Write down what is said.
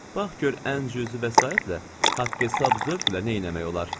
"Bax gör ən cüzi vəsaitlə haqq-hesab zövqlə neynəmək olar?"